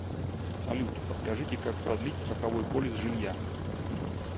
салют подскажите как продлить страховой полис жилья